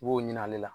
I b'o ɲini ale la